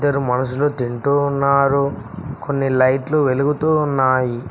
ఇద్దరు మనుషులు తింటూ ఉన్నారు కొన్ని లైట్లు వెలుగుతూ ఉన్నాయి.